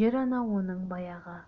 жер-ана оның баяғы